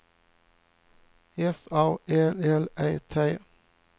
F A L L E T